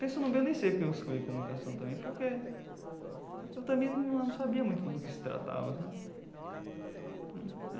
Pensando bem, eu nem sei por que eu escolhi comunicação também, porque eu também não sabia muito do que se tratava sabe.